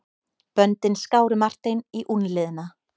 Böndin skáru Martein í úlnliðina.